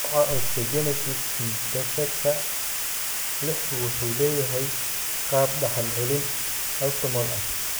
Nooca Osteogenesis imperfecta 6 wuxuu leeyahay qaab-dhaxal-celin autosomal ah.